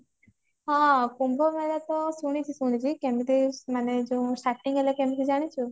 ହଁ କୁମ୍ଭ ମେଳା ତ ଶୁଣିଛି ଶୁଣିଛି କେମିତି ମାନେ ଯୋଉ starting ହେଲା ଜାଣିଛୁ